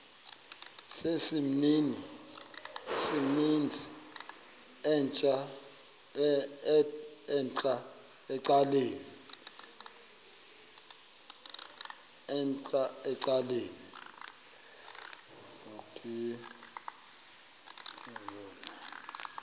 sesimnini entla ecaleni